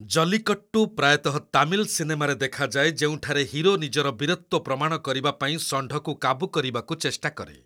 ଜଲିକଟ୍ଟୁ ପ୍ରାୟତଃ ତାମିଲ୍ ସିନେମାରେ ଦେଖାଯାଏ ଯେଉଁଠାରେ ହିରୋ ନିଜର ବୀରତ୍ୱ ପ୍ରମାଣ କରିବାପାଇଁ ଷଣ୍ଢକୁ କାବୁ କରିବାକୁ ଚେଷ୍ଟା କରେ।